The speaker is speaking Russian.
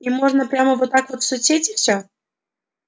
им можно прямо вот так в соцсети всё